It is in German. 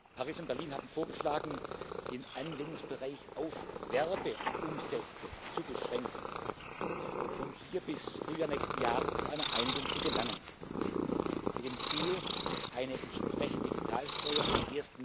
Paris und Berlin haben vorgeschlagen, den Anwendungsbereich auf Werbeumsätze zu beschränken, um hier bis Frühjahr nächsten Jahres zu einer Einigung zu gelangen, mit dem Ziel, eine entsprechende Digitalsteuer am